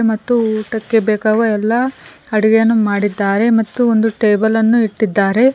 ಮತ್ತು ಊಟಕ್ಕೆ ಬೇಕಾಗುವ ಎಲ್ಲಾ ಅಡಿಗೆಯನ್ನು ಮಾಡಿದ್ದಾರೆ ಮತ್ತು ಒಂದು ಟೇಬಲ್ ಅನ್ನು ಇಟ್ಟಿದ್ದಾರೆ.